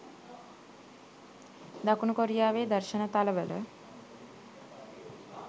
දකුණු කොරියාවේ දර්ශන තල වල